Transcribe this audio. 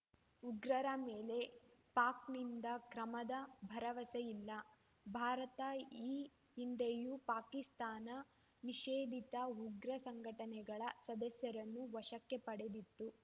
ಉಗ್ರರ ಮೇಲೆ ಪಾಕ್‌ನಿಂದ ಕ್ರಮದ ಭರವಸೆಯಿಲ್ಲ ಭಾರತ ಈ ಹಿಂದೆಯೂ ಪಾಕಿಸ್ತಾನ ನಿಷೇಧಿತ ಉಗ್ರ ಸಂಘಟನೆಗಳ ಸದಸ್ಯರನ್ನು ವಶಕ್ಕೆ ಪಡೆದಿತ್ತು